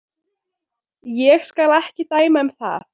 Ég skal ekki dæma um það.